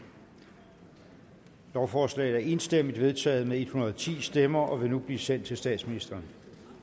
lovforslaget er enstemmigt vedtaget med en hundrede og ti stemmer og vil nu blive sendt til statsministeren